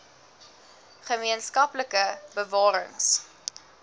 gemeen skaplike bewarings